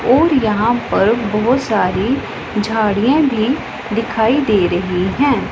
और यहां पर बहोत सारी झाड़ियां भी दिखाई दे रही हैं।